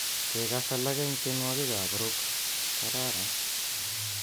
Kekass alak eng tienwokikab Rock kararan